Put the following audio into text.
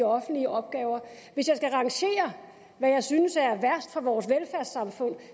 offentlige opgaver hvis jeg skal rangere hvad jeg synes er værst for vores velfærdssamfund